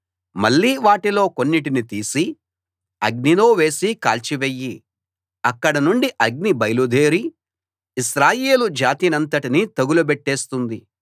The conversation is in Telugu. మళ్ళీ వాటిలో కొన్నిటిని తీసి అగ్నిలో వేసి కాల్చి వెయ్యి అక్కడ నుండి అగ్ని బయలుదేరి ఇశ్రాయేలు జాతినంతటినీ తగులబెట్టేస్తుంది